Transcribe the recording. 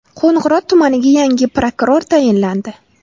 Qo‘ng‘irot tumaniga yangi prokuror tayinlandi.